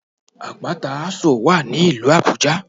Àpáta Ásò wà ní ìlú Àbújá